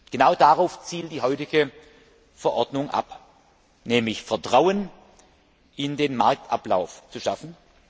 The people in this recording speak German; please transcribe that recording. Genau darauf zielt die heutige Verordnung ab, nämlich Vertrauen in den Marktablauf zu schaffen.